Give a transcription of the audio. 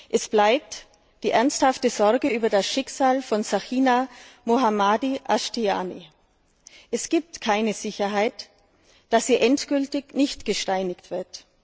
Es bleibt die ernsthafte Sorge über das Schicksal von Sakineh Mohammadi Ashtiani. Es gibt keine Sicherheit, dass sie endgültig nicht gesteinigt wird.